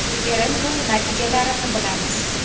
Referendum natijalarini bilamiz.